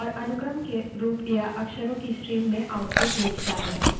प्रत्येक अक्षर इसके एक पहले या इसके एक बाद से स्वतंत्र होता है